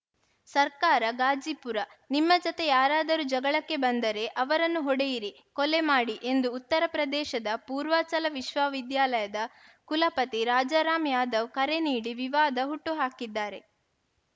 ಸರ್ಕಾರ ಗಾಜಿಪುರ ನಿಮ್ಮ ಜತೆ ಯಾರಾದರೂ ಜಗಳಕೆ ಬಂದರೆ ಅವರನ್ನು ಹೊಡೆಯಿರಿ ಕೊಲೆ ಮಾಡಿ ಎಂದು ಉತ್ತರಪ್ರದೇಶದ ಪೂರ್ವಾಚಲ ವಿಶ್ವವಿದ್ಯಾಲಯದ ಕುಲಪತಿ ರಾಜಾರಾಮ ಯಾದವ್‌ ಕರೆ ನೀಡಿ ವಿವಾದ ಹುಟ್ಟುಹಾಕಿದ್ದಾರೆ